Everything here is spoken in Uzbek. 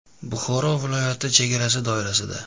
Buxoro viloyati chegarasi doirasida.